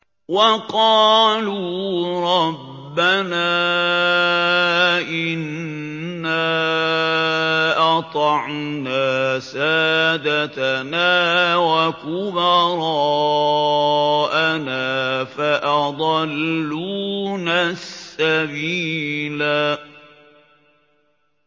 وَقَالُوا رَبَّنَا إِنَّا أَطَعْنَا سَادَتَنَا وَكُبَرَاءَنَا فَأَضَلُّونَا السَّبِيلَا